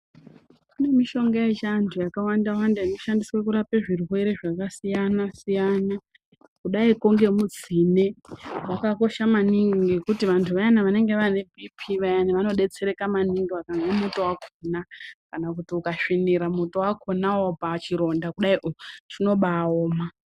Kune mishonga yechiantu yakawanda wanda inoshandiswe kurapa zvirwere zvakasiyana siyana kudaiko ngemutsine wakakosha maningi ngokuti vantu vayana vanenge vane bhiipii vanodetsereka vakamwa muto wakona kana kuti ukasvinira muto wakonawo pachironda kudaio chinobaoma.